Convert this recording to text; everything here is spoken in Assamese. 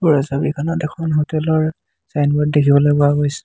ওপৰৰ ছবিখনত এখন হোটেল ৰ ছাইনবোৰ্ড দেখিবলৈ পোৱা গৈছে।